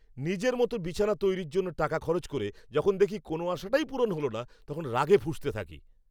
নিজের মতো বিছানা তৈরির জন্য টাকা খরচ করে যখন দেখি কোনও আশাটাই পূরণ হল না তখন রাগে ফুঁসতে থাকি।